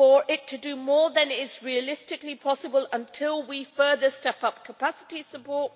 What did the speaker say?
it to do more than is realistically possible until we further step up capacity support.